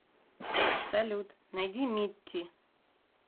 салют найди митти